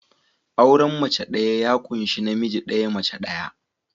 Auren mace ɗaya ya ƙunshi namiji ɗaya, mace ɗaya.